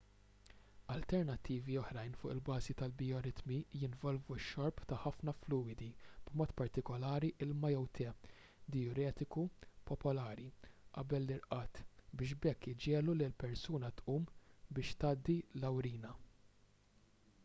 alternattivi oħrajn fuq il-bażi tal-bijoritmi jinvolvu x-xorb ta' ħafna fluwidi b'mod partikolari ilma jew te dijuretiku popolari qabel l-irqad biex b’hekk iġiegħlu lill-persuna tqum biex tgħaddi l-awrina